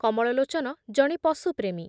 କମଳଲୋଚନ ଜଣେ ପଶୁପ୍ରେମୀ ।